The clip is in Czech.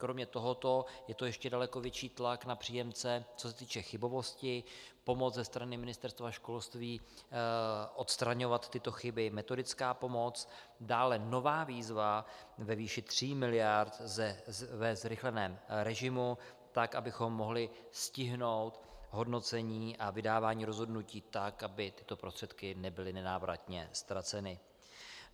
Kromě tohoto je to ještě daleko větší tlak na příjemce, co se týče chybovosti, pomoc ze strany Ministerstva školství odstraňovat tyto chyby, metodická pomoc, dále nová výzva ve výši 3 miliard ve zrychleném režimu tak, abychom mohli stihnout hodnocení a vydávání rozhodnutí tak, aby tyto prostředky nebyly nenávratně ztraceny.